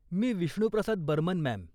मी Vishnuprasad Barman, ma'am.